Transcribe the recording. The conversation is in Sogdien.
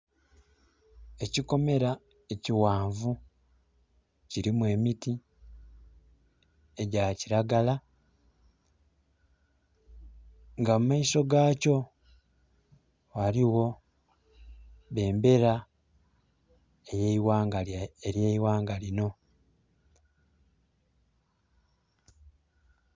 Ekikomera ekighanvu kilimu emiti egya kiragala nga mu maiso gakyo ghaligho bendera ey'eighanga lino.